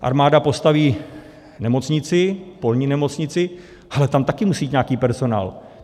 Armáda postaví nemocnici, polní nemocnici, ale tam taky musí být nějaký personál.